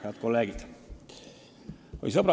Head kolleegid!